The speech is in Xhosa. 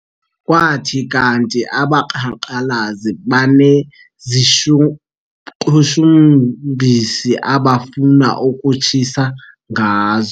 Kwathi kanti abaqhankqalazi baneziqhushumbisi abafuna ukutshisa ngazo.